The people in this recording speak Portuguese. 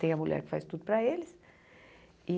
Tem a mulher que faz tudo para eles e.